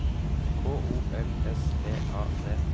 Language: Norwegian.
K O L S T A D